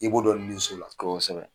I b'o dɔn nin so la. Koosɛbɛ.